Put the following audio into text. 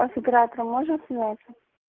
а с оператором можем связаться